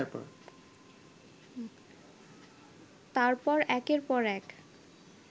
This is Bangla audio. তারপর একের পর এক